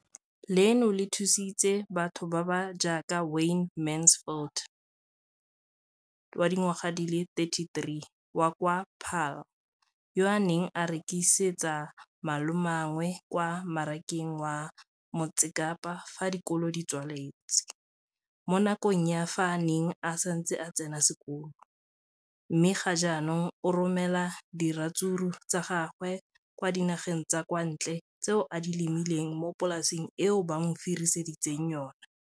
leno le thusitse batho ba ba jaaka Wayne Mansfield, 33, wa kwa Paarl, yo a neng a rekisetsa malomagwe kwa Marakeng wa Motsekapa fa dikolo di tswaletse, mo nakong ya fa a ne a santse a tsena sekolo, mme ga jaanong o romela diratsuru tsa gagwe kwa dinageng tsa kwa ntle tseo a di lemileng mo polaseng eo ba mo hiriseditseng yona.